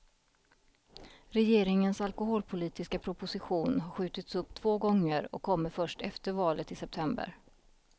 Regeringens alkoholpolitiska proposition har skjutits upp två gånger och kommer först efter valet i september.